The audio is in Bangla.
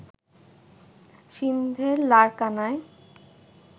সিন্ধের লারকানায়